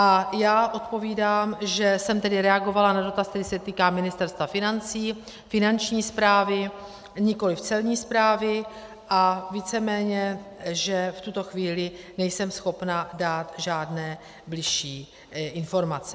A já odpovídám, že jsem tedy reagovala na dotaz, který se týká Ministerstva financí, Finanční správy a nikoliv Celní správy a víceméně že v tuto chvíli nejsem schopna dát žádné bližší informace.